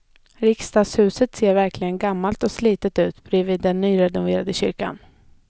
Riksdagshuset ser verkligen gammalt och slitet ut bredvid den nyrenoverade kyrkan.